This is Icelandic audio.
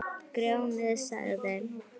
Grjóni sagði